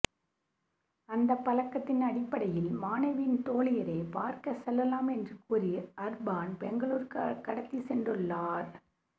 அந்தப் பழக்கத்தின் அடிப்படையில் மாணவியின் தோழியரைப் பார்க்கச் செல்லலாம் என்று கூறி அர்ப்பான் பெங்களூருக்கு கடத்திச் சென்றுள்ளார்